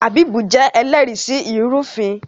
Habib jé ẹlẹri sí ilufin